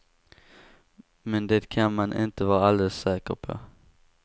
Men det kan man inte vara alldeles säker på.